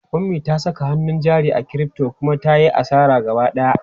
Ummi ta saka hannun jari a crypto kuma ta yi asara gaba ɗaya.